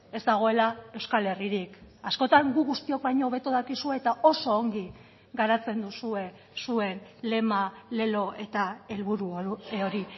ez dagoela euskal herririk askotan gu guztiok baino hobeto dakizue eta oso ongi garatzen duzue zuen lema lelo eta helburu hori